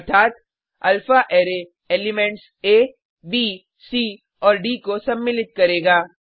अर्थात अल्फ़ाररे elements A B C और डी को सम्मिलित करेगा